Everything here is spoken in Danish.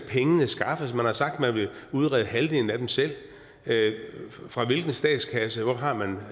skaffes man har sagt at man vil udrede halvdelen af dem selv fra hvilken statskasse hvor har man